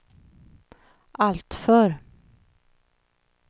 alltför